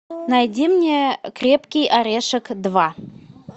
найди мне крепкий орешек два